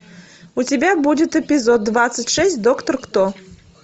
у тебя будет эпизод двадцать шесть доктор кто